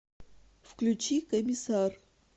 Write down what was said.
включи комиссар